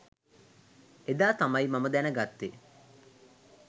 එදා තමයි මම දැනගත්තෙ.